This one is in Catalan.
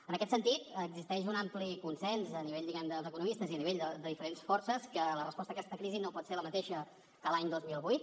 en aquest sentit existeix un ampli consens a nivell diguem ne dels economistes i a nivell de diferents forces que la resposta a aquesta crisi no pot ser la mateixa que l’any dos mil vuit